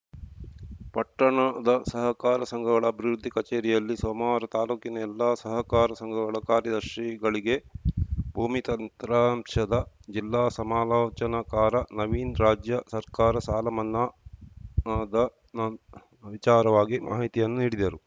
ಪಟ್ಟಣದ ಸಹಕಾರ ಸಂಘಗಳ ಅಭಿವೃದ್ದಿ ಕಚೇರಿಯಲ್ಲಿ ಸೋಮವಾರ ತಾಲೂಕಿನ ಎಲ್ಲಾ ಸಹಕಾರ ಸಂಘಗಳ ಕಾರ್ಯದರ್ಶಿಗಳಿಗೆ ಭೂಮಿ ತತ್ರಾಂಶದ ಜಿಲ್ಲಾ ಸಮಾಲೋಚನಕಾರ ನವೀನ್‌ ರಾಜ್ಯ ಸರ್ಕಾರದ ಸಾಲ ಮನ್ನಾದ ವಿಚಾರವಾಗಿ ಮಾಹಿತಿಯನ್ನು ನೀಡಿದರು